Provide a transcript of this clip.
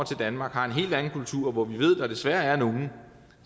til danmark har en helt anden kultur og hvor vi ved at der desværre er nogle